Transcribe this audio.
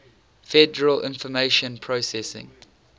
federal information processing